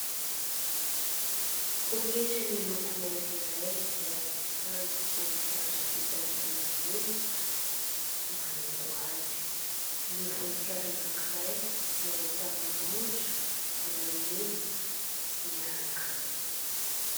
Pôketra miloko mainty iray izay ahitana voninkazo vita amin'ny volamena manaingo azy, ny voninkazo anakiray dia ahitana rojo volamena miaraka aminy.